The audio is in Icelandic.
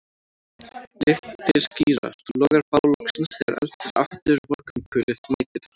Litir skýrast, logar bál loksins þegar eldir aftur morgunkulið mætir þér